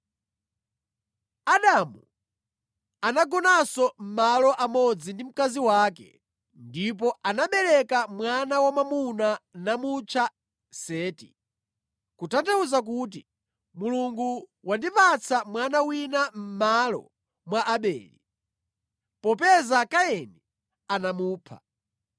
Adamu anagonanso malo amodzi ndi mkazi wake, ndipo anabereka mwana wamwamuna namutcha Seti, kutanthauza kuti, “Mulungu wandipatsa mwana wina mʼmalo mwa Abele, popeza Kaini anamupha.”